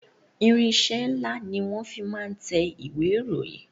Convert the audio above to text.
Irinsẹ́ ńlá ni wọn fi máa ń tẹ ìwé ìròyìn